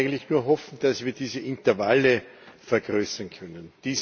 Wir können eigentlich nur hoffen, dass wir diese Intervalle vergrößern können.